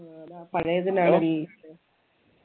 പഴയതില ഒരി